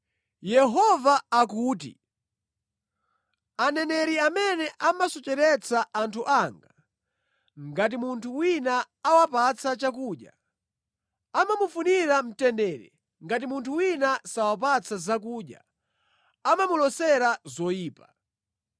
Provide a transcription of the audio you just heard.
Yehova akuti, “Aneneri amene amasocheretsa anthu anga, ngati munthu wina awapatsa chakudya amamufunira ‘mtendere;’ ngati munthu wina sawapatsa zakudya amamulosera zoyipa.